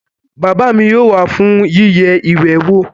Bàbá mi yóò wá fún yíyẹ ìwé wò